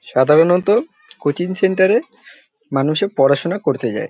সাধারনত coaching centre এ মানুষে পড়াশোনা করতে যায়।